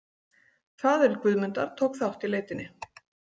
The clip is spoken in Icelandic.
Faðir Guðmundar tók þátt í leitinni.